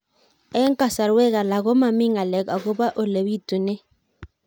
Eng' kasarwek alak ko mami ng'alek akopo ole pitunee